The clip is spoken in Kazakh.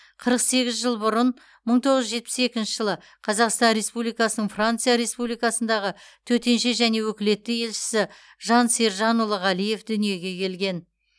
қырық сегіз жыл бұрын мың тоғыз жүз жетпіс екінші жылы қазақстан республикасының франция республикасындағы төтенше және өкілетті елшісі жан сержанұлы ғалиев дүниеге келген